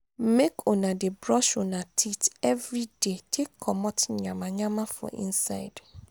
make una dey brush una teeth everyday take comot nyama nyama for inside.